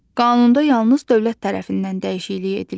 Qanunda yalnız dövlət tərəfindən dəyişiklik edilir.